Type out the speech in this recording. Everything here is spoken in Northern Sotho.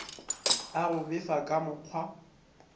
a go befa ka mokgwa